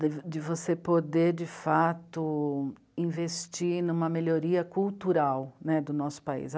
de você poder, de fato, investir numa melhoria cultural, né, do nosso país.